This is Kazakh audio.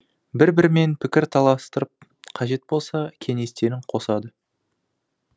бір бірімен пікір таластырып қажет болса кеңестерін қосады